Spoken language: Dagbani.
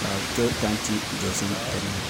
ka bi to tanti dozim dinni